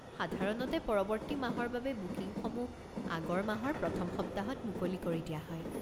সাধাৰণতে পৰৱৰ্তী মাহৰ বাবে বুকিংসমূহ আগৰ মাহৰ প্ৰথম সপ্তাহত মুকলি কৰি দিয়া হয়।